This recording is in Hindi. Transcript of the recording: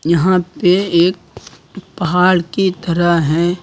यहां पे एक पहाड़ की तरह है।